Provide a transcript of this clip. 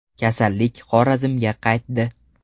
Kasallik Xorazmga qaytdi.